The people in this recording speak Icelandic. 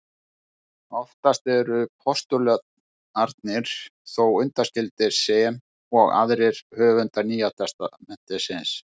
Oftast eru postularnir þó undanskildir sem og aðrir höfundar Nýja testamentisins.